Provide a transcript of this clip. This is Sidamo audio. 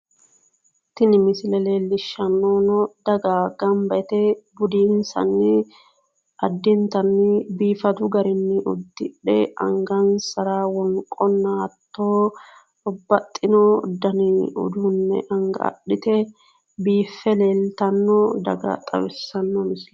Tini misile leellishshannohuno daga ganba yite budinssanni addintanni biifadu garinni uddidhe angansara wonqonna hatto babbaxxino dani uduunne anga adhite biiffe leeltanno daga xawissanno misileeti